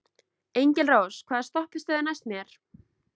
Engilrós, hvaða stoppistöð er næst mér?